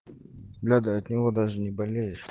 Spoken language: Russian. надо от него даже не болеешь